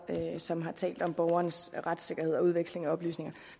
og som har talt om borgernes retssikkerhed og udveksling af oplysninger